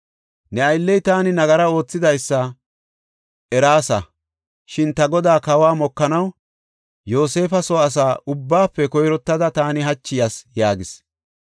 Ne aylley taani nagara oothidaysa erayis; shin ta godaa, kawa mokanaw Yoosefa soo asa ubbaafe koyrottada taani hachi yas” yaagis.